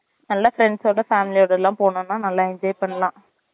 நல்லா friends ஓட family ஓடலாம் போனோம்னா நல்லா enjoy பண்ணலாம்